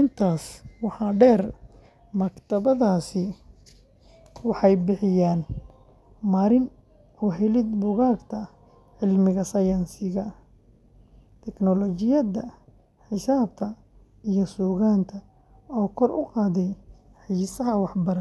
intaas waxaa dheer, maktabadahaasi waxay bixiyaan marin u helid buugagta cilmiga sayniska, tiknoolajiyadda, xisaabta, iyo suugaanta oo kor u qaaday xiisaha waxbarasho.